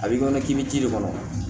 A b'i kɔnɔ k'i bɛ ji de kɔnɔ